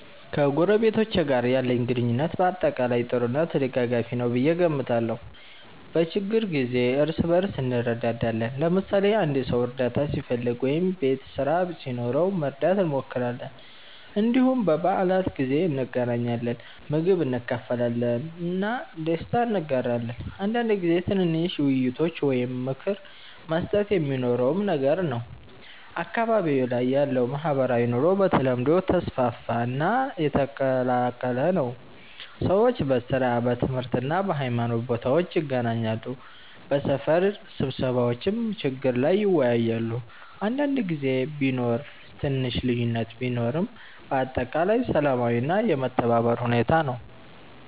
ከጎረቤቶቼ ጋር ያለኝ ግንኙነት በአጠቃላይ ጥሩ እና ተደጋጋፊ ነው ብዬ እገምታለሁ። በችግኝ ጊዜ እርስ በእርስ እንረዳዳለን፣ ለምሳሌ አንድ ሰው እርዳታ ሲፈልግ ወይም ቤት ስራ ሲኖረው መርዳት እንሞክራለን። እንዲሁም በበዓላት ጊዜ እንገናኛለን፣ ምግብ እንካፈላለን እና ደስታ እንጋራለን። አንዳንድ ጊዜ ትንሽ ውይይቶች ወይም ምክር መስጠት የሚኖረውም ነገር ነው። አካባቢዬ ላይ ያለው ማህበራዊ ኑሮ በተለምዶ ተስፋፋ እና የተቀላቀለ ነው። ሰዎች በሥራ፣ በትምህርት እና በሃይማኖት ቦታዎች ይገናኛሉ፣ በሰፈር ስብሰባዎችም ችግር ላይ ይወያያሉ። አንዳንድ ጊዜ ቢኖር ትንሽ ልዩነት ቢኖርም በአጠቃላይ ሰላማዊ እና የመተባበር ሁኔታ ነው።